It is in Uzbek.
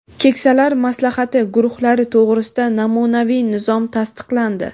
"Keksalar maslahati" guruhlari to‘g‘risida namunaviy nizom tasdiqlandi.